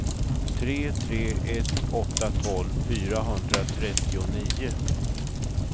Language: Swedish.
tre tre ett åtta tolv fyrahundratrettionio